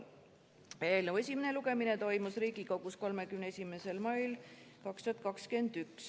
Eelnõu esimene lugemine toimus Riigikogus 31. mail 2021.